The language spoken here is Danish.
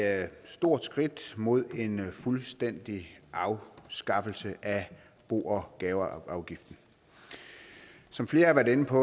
er et stort skridt mod en fuldstændig afskaffelse af bo og gaveafgiften som flere har været inde på